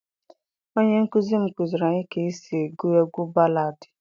onye nkuzi m kuziri anyi ka e si egu egwu baladi.